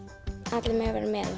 allir mega vera með og